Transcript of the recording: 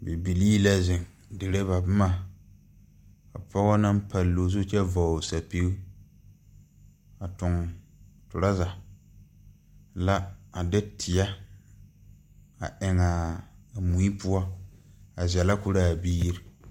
Bibilii la zeŋ dire ba bomma ka pɔgɔ naŋ palloo zu kyɛ vɔgle sɛpige a tuŋ trɔza la a de teɛ a eŋaa a mui poɔ a zɛlɛ korɔ aa biire.